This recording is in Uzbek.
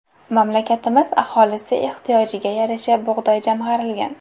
Mamlakatimiz aholisi ehtiyojiga yarasha bug‘doy jamg‘arilgan.